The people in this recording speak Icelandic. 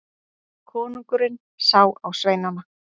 Konungurinn sá á sveinana.